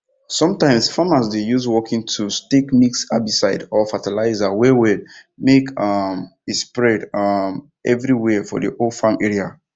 sometimes farmers dey use working tools take mix herbicide or fertilizer wellwell make um e spread um everywere for the whole farm area